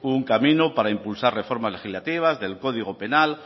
un camino para impulsar reformas legislativas del código penal